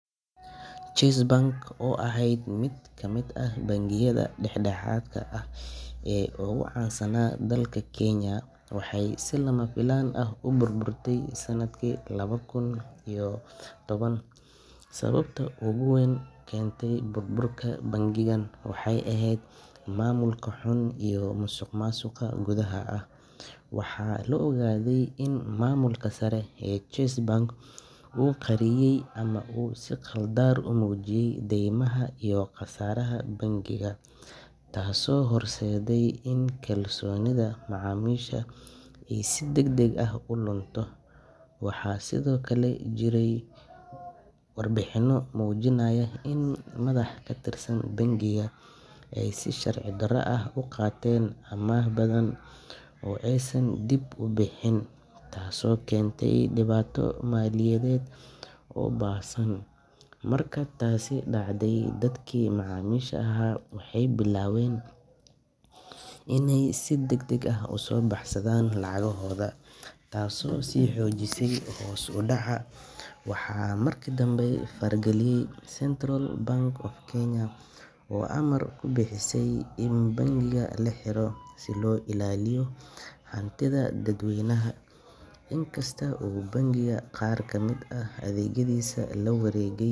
Chase Bank oo ahayd mid ka mid ah bangiyada dhexdhexaadka ah ee ugu caansanaa dalka Kenya, waxay si lama filaan ah u burburtay sanadkii laba kun iyo lix iyo toban. Sababta ugu weyn ee keentay burburka bangigan waxay ahayd maamulka xun iyo musuqmaasuq gudaha ah. Waxaa la ogaaday in maamulka sare ee Chase Bank uu qariyay ama uu si khaldan u muujiyay daymaha iyo khasaaraha bangiga, taasoo horseeday in kalsoonidii macaamiisha ay si degdeg ah u lunto. Waxaa sidoo kale jiray warbixino muujinaya in madax ka tirsan bangiga ay si sharci darro ah u qaateen amaah badan oo aysan dib u bixin, taasoo keentay dhibaato maaliyadeed oo baahsan. Marka ay taasi dhacday, dadkii macaamiisha ahaa waxay bilaabeen inay si degdeg ah u soo baxsadaan lacagohooda, taasoo sii xoojisay hoos u dhaca. Waxaa markii dambe farageliyay Central Bank of Kenya, oo amar ku bixisay in bangiga la xiro si loo ilaaliyo hantida dadweynaha. Inkasta oo bangiga qaar ka mid ah adeegyadiisii la wareegay.